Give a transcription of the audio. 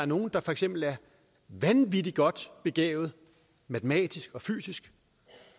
nogle er for eksempel vanvittigt godt begavet matematisk og fysisk